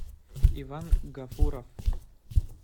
иван гафуров